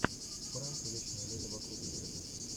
пранк вечное лето вокруг света